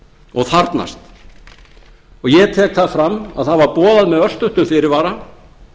og þarfnast og ég tek það fram að það var boðað með tiltölulega stuttum fyrirvara